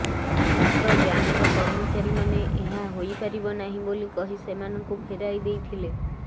ମାତ୍ର ବ୍ୟାଙ୍କର କର୍ମଚାରୀମାନେ ଏହା ହୋଇପାରିବ ନାହିଁ ବୋଲି କହି ସେମାନଙ୍କୁ ଫେରାଇ ଦେଇଥିଲେ